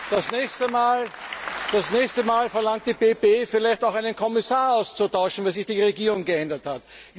Das nächste Mal verlangt die PPE vielleicht auch, einen Kommissar auszutauschen, weil sich die Regierung geändert hat.